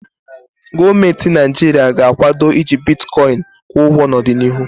Gọọmentị Naịjirịa ga-akwado iji bitkọịn kwụ ụgwo n'ọdịnịhu.